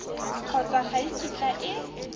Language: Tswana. kgotsa ga e kitla e